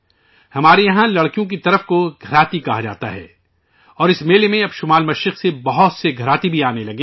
ہمارے یہاں لڑکی والوں کو گھراتی کہا جاتا ہے اور اس میلے میں اب شمال مشرق سے بہت گھراتی بھی آنے لگے ہیں